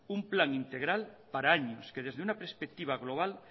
un plan integral para años que desde una perspectiva global